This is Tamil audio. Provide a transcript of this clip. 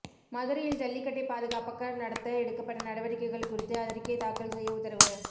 மதுரையில் ஜல்லிக்கட்டை பாதுகாப்பாக நடத்த எடுக்கப்பட்ட நடவடிக்கைகள் குறித்து அறிக்கை தாக்கல் செய்ய உத்தரவு